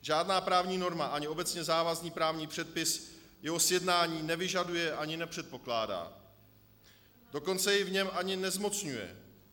Žádná právní norma ani obecně závazný právní předpis jeho sjednání nevyžaduje ani nepředpokládá, dokonce jej v něm ani nezmocňuje.